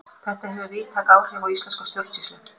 þetta hefur víðtæk áhrif á íslenska stjórnsýslu